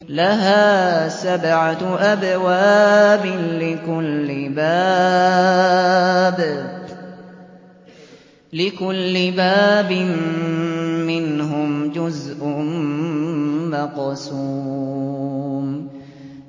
لَهَا سَبْعَةُ أَبْوَابٍ لِّكُلِّ بَابٍ مِّنْهُمْ جُزْءٌ مَّقْسُومٌ